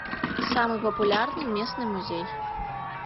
самый популярный местный музей